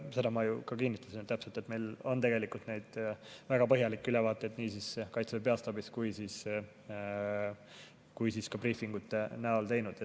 Seda ma ju ka kinnitasin täpselt, et meile on tegelikult väga põhjalikke ülevaateid nii Kaitseväe peastaabis kui ka briifingute näol tehtud.